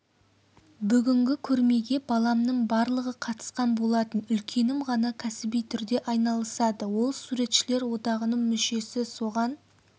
бүгінгі көрмеге баламның барлығы қатысқан болатын үлкенім ғана кәсіби түрде айналысады ол суретшілер одағының мүшесі соған